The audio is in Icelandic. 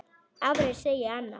Aðrir segja annað.